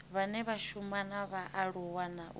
vhane vha shuma na vhaaluwa